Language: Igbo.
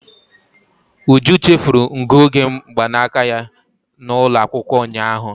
Uju chefuru ngụoge mgbanaka ya n'ụlọ akwụkwọ ụnyaahụ.